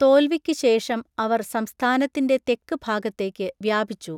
തോൽവിക്ക് ശേഷം അവർ സംസ്ഥാനത്തിൻ്റെ തെക്ക് ഭാഗത്തേക്ക് വ്യാപിച്ചു.